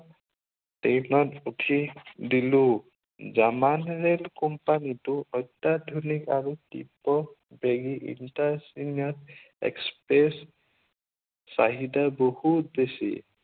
ট্ৰেইনত উঠি দিলো। জমানী ৰেড কোম্পানীটো অত্য়াধুনিক আৰু তীব্ৰবেগী intimate express চাহিদা বহুত বেছি।